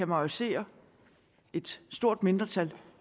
majorisere et mindretal